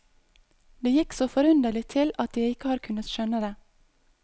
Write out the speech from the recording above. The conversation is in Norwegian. Det gikk så forunderlig til at jeg ikke har kunnet skjønne det.